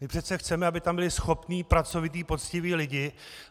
My přece chceme, aby tam byli schopní, pracovití, poctiví lidé.